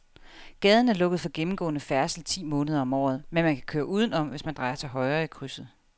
Gaden er lukket for gennemgående færdsel ti måneder om året, men man kan køre udenom, hvis man drejer til højre i krydset.